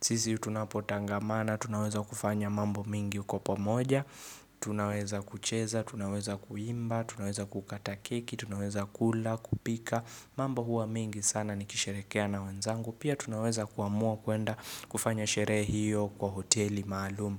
sisi tunapotangamana, tunaweza kufanya mambo mingi uko pamoja Tunaweza kucheza, tunaweza kuimba, tunaweza kukata keki, tunaweza kula, kupika mambo huwa mengi sana nikisherehekea na wenzangu Pia tunaweza kuamua kuenda kufanya sherehe hiyo kwa hoteli maalumu.